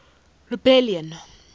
rebellion